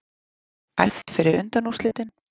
Æft fyrir undanúrslitin